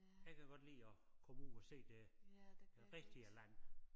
Jeg kan godt lide at komme ud og se det det rigtige land